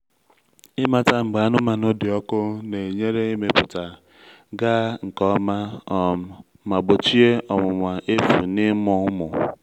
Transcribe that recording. ịmata mgbe anụmanụ dị ọkụ na-enyere ịmụpụta gaa nke ọma um ma gbochie ọnwụnwa efu n’ịmụ ụmụ.